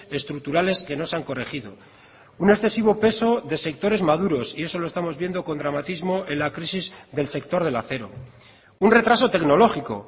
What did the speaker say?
estructurales que no se han corregido un excesivo peso de sectores maduros y eso lo estamos viendo con dramatismo en la crisis del sector del acero un retraso tecnológico